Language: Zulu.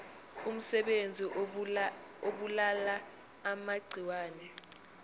umsebenzi obulala amagciwane